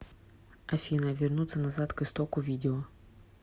афина вернуться назад к истоку видео